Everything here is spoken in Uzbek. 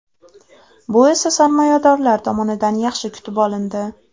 Bu esa sarmoyadorlar tomonidan yaxshi kutib olindi.